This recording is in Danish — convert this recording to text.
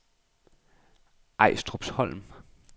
Ejstrupholm